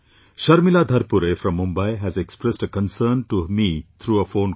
Sharmila Dharpure from Mumbai has expressed her concern to me through her phone call